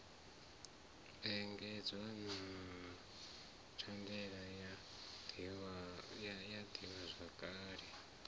engedzwa na thandela ya ḓivhazwakale